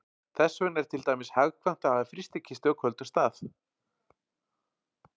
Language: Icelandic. Þess vegna er til dæmis hagkvæmt að hafa frystikistu á köldum stað.